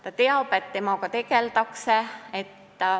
Ta teab, et temaga tegeldakse.